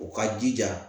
U ka jija